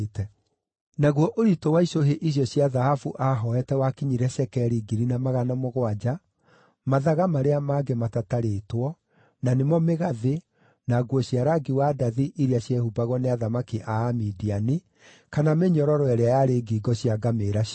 Naguo ũritũ wa icũhĩ icio cia thahabu aahooete wakinyire cekeri 1,700, mathaga marĩa mangĩ matatarĩtwo, na nĩmo mĩgathĩ, na nguo cia rangi wa ndathi iria ciehumbagwo nĩ athamaki a Amidiani, kana mĩnyororo ĩrĩa yarĩ ngingo cia ngamĩĩra ciao.